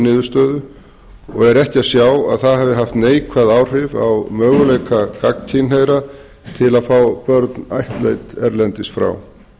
niðurstöðu og er ekki að sjá að það hafi haft neikvæð áhrif á möguleika gagnkynhneigðra til að fá börn ættleidd erlendis frá